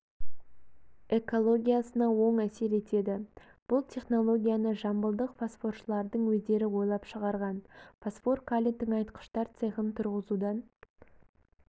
экологиясына оң әсер етеді бұл технологияны жамбылдық фосфоршылардың өздері ойлап шығарған фосфор-калий тыңайтқыштар цехын тұрғызудан